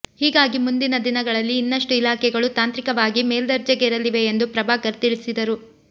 ಹೀಗಾಗಿ ಮುಂದಿನ ದಿನಗಳಲ್ಲಿ ಇನ್ನಷ್ಟು ಇಲಾಖೆಗಳು ತಾಂತ್ರಿಕವಾಗಿ ಮೇಲ್ದರ್ಜೆಗೇರಲಿವೆ ಎಂದು ಪ್ರಭಾಕರ್ ತಿಳಿಸಿದರು